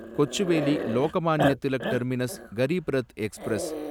Kochuveli Lokmanya Tilak terminus Garib Rath express